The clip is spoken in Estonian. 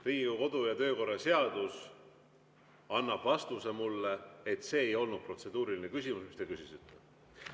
Riigikogu kodu‑ ja töökorra seadus annab mulle vastuse, et see ei olnud protseduuriline küsimus, mida te küsisite.